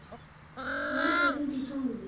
Horfir út í tómið.